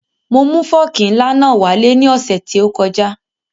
Mo mu fọ́ọ̀kì ńlá náà wá lé ní ọ̀sẹ̀ tí ó kọjá